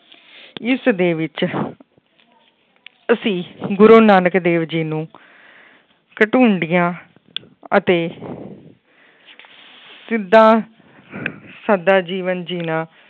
ਇਸ ਦੇ ਵਿੱਚ ਅਸੀਂ ਗੁਰੂ ਨਾਨਕ ਦੇਵ ਜੀ ਨੂੰ ਅਤੇ ਜਿੱਦਾਂ ਸਾਦਾ ਜੀਵਨ ਜਿਉਣਾ।